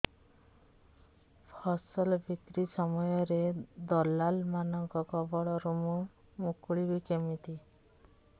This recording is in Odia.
ଫସଲ ବିକ୍ରୀ ସମୟରେ ଦଲାଲ୍ ମାନଙ୍କ କବଳରୁ ମୁଁ ମୁକୁଳିଵି କେମିତି